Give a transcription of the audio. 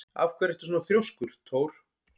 Af hverju ertu svona þrjóskur, Thór?